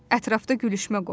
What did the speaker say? Ətrafda gülüşmə qopdu.